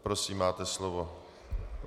Prosím, máte slovo.